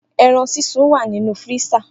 Eran sisun wa ninu firisa.